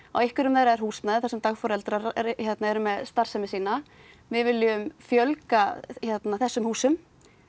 á einhverjum þeirra er húsnæði þar sem dagforeldrar eru með starfsemi sína við viljum fjölga þessum húsum